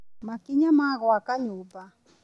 Makinya ma gũaka nyũmba.